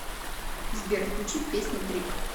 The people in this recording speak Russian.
сбер включи песня трип